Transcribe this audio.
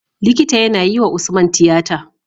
Likita yAna yi wa usman tiyata